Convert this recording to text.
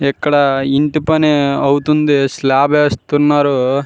ఇక్కడ ఇంటి పని అవుతుంది స్లాబ్ వేస్తున్నారు.